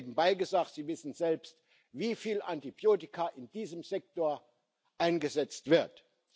Und nebenbei gesagt Sie wissen selbst, wie viele Antibiotika in diesem Sektor eingesetzt werden.